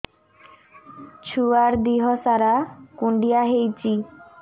ଛୁଆର୍ ଦିହ ସାରା କୁଣ୍ଡିଆ ହେଇଚି